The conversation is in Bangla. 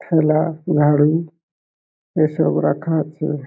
খেলা নাড়ু এইসব রাখা আছে ।